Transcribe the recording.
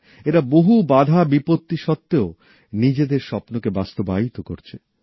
এরা বহু বাধাবিপত্তি সত্তেও নিজেদের স্বপ্নকে বাস্তবায়িত করছেন